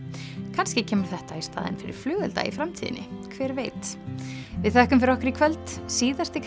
kannski kemur þetta í staðinn fyrir flugelda í framtíðinni hver veit við þökkum fyrir okkur í kvöld síðasti